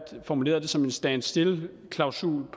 formulerede det som en standstillklausul